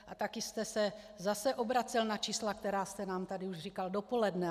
A taky jste se zase obracel na čísla, která jste nám tady už říkal dopoledne.